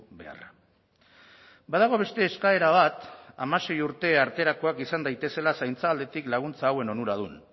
beharra badago beste eskaera bat hamasei urte arterakoak izan daitezela zaintza aldetik laguntza hauen onuradun